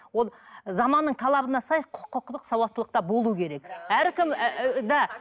ол заманның талабына сай құқықтық сауаттылық да болу керек әркім да